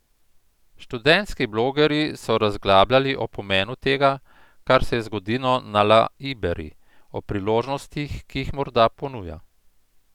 Študentski blogerji so razglabljali o pomenu tega, kar se je zgodilo na La Iberi, o priložnostih, ki jih morda ponuja.